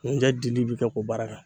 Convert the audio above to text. Ŋunjɛ dili be kɛ k'o baara kɛ